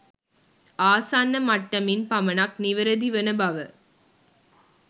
ආසන්න මට්ටමින් පමණක් නිවැරදි වන බව